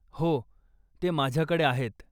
हो, ते माझ्याकडे आहेत.